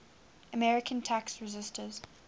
american tax resisters